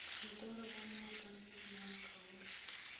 kantorong ya mookamedi wa kgaolo